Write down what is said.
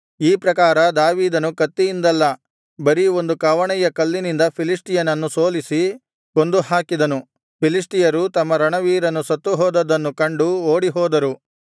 ಈ ಪ್ರಕಾರ ದಾವೀದನು ಕತ್ತಿಯಿಂದಲ್ಲ ಬರೀ ಒಂದು ಕವಣೆಯ ಕಲ್ಲಿನಿಂದ ಫಿಲಿಷ್ಟಿಯನನ್ನು ಸೋಲಿಸಿ ಕೊಂದು ಹಾಕಿದನು ಫಿಲಿಷ್ಟಿಯರು ತಮ್ಮ ರಣವೀರನು ಸತ್ತುಹೋದದ್ದನ್ನು ಕಂಡು ಓಡಿಹೋದರು